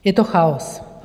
Je to chaos.